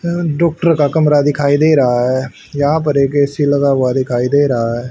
यह डॉक्टर का कमरा दिखाई दे रहा है यहां पर एक ए_सी लगा हुआ दिखाई दे रहा है।